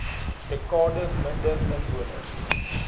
dekade minder inwoners